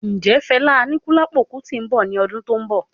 Ǹjẹ Fela Anikulapo Kuti nbọ ní ọdún tó n bọ?